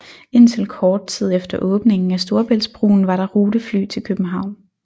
Indtil kort tid efter åbningen af Storebæltsbroen var der rutefly til København